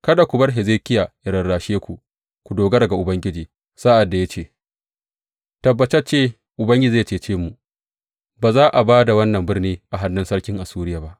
Kada ku bar Hezekiya ya rarashe ku ku dogara ga Ubangiji sa’ad da ya ce, Tabbatacce Ubangiji zai cece mu; ba za a ba da wannan birni a hannun sarkin Assuriya ba.’